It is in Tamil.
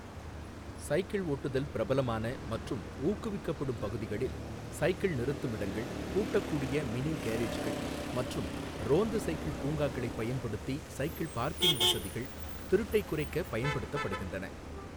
சைக்கிள் ஓட்டுதல் பிரபலமான மற்றும் ஊக்குவிக்கப்படும் பகுதிகளில் சைக்கிள் நிறுத்துமிடங்கள், பூட்டக்கூடிய மினி கேரேஜ்கள் மற்றும் ரோந்து சைக்கிள் பூங்காக்களைப் பயன்படுத்தி சைக்கிள் பார்க்கிங் வசதிகள் திருட்டைக் குறைக்க பயன்படுத்தப்படுகின்றன.